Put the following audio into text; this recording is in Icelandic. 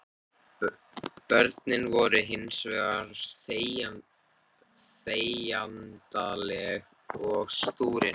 Börnin voru hins vegar þegjandaleg og stúrin.